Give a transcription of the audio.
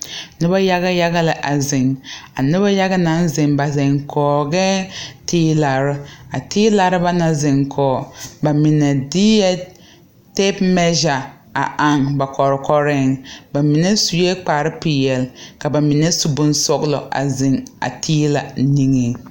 Nobɔ yaga yaga la a zeŋ a nobɔ yaga naŋ zeŋ ba zeŋ kɔgɛɛ teelarre a teelarre ba na zeŋ kɔge ba mine deɛ tape measure a aŋ ba kɔkɔreŋ ba mine suee kpare peɛle ka ba mine su bonsɔglɔ a zeŋ a teelɛ niŋeŋ.